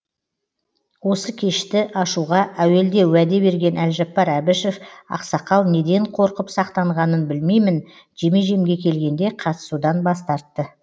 осы кешті ашуға әуелде уәде берген әлжаппар әбішев ақсақал неден қорқып сақтанғанын білмеймін жеме жемге келгенде қатысудан бас тартты